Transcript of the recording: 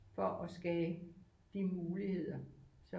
For at skabe de muligheder som